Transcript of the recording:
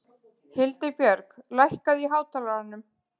Hildibjörg, lækkaðu í hátalaranum.